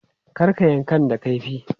Kar ka yankan da kaifi!